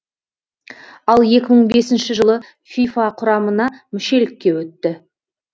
ал екі мың бесінші жылы фифа құрамына мүшелікке өтті